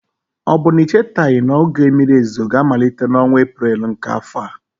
Ọ bụ na ị chetaghị na oge mmiri ozuzo ga-amalite n'ọnwa Eprel nke afọ a?